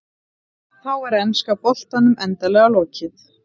Þá er enska boltanum endanlega lokið.